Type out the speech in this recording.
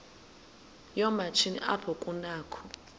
yoomatshini apho kunakho